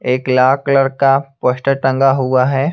एक लाल कलर का पोस्टर टंगा हुआ है।